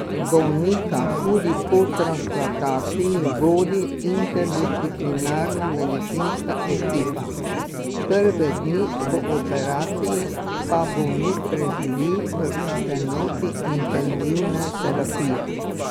Bolnika tudi po transplantaciji vodi interdisciplinarna medicinska ekipa, prve dni po operaciji pa bolnik preživi v enoti intenzivne terapije.